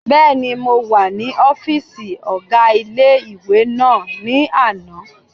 Bẹ́ẹ̀ni, mo wà ní ọ́fìsì ọgá ilé-ìwé náà ní àná